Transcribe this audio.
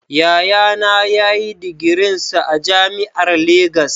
Yayana ya yi digirinsa a jami'ar Legas